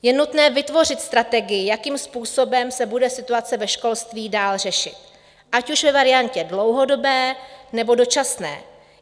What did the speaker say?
Je nutné vytvořit strategii, jakým způsobem se bude situace ve školství dále řešit, ať už ve variantě dlouhodobé, nebo dočasné.